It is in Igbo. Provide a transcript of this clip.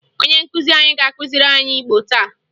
Onye nkụzi anyị ga-akụziri anyị Igbo taa